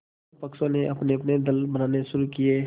दोनों पक्षों ने अपनेअपने दल बनाने शुरू किये